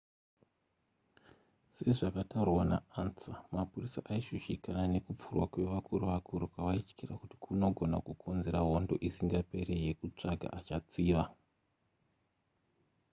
sezvakataurwa naansa mapurisa aishushikana nekupfurwa kwevakuru vakuru kwavaityira kuti kunogona kukonzera hondo isingaperi yekutsvaga achatsiva